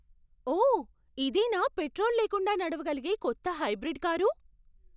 ఓ! ఇదేనా పెట్రోల్ లేకుండా నడవగలిగే కొత్త హైబ్రిడ్ కారు?